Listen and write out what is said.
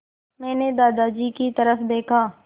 मैंने दादाजी की तरफ़ देखा